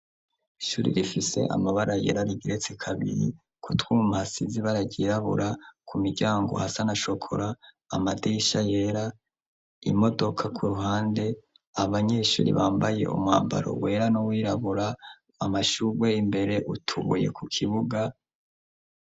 Ishuri rifise amabara yera rigiretse kabiri kutwumhasizi bararirabura ku miryango hasanashokora amadisha yera imodoka ku ruhande abanyeshuri bambaye umwambaro wera no wirabura amashurwe imbere utubuye ku kibuga.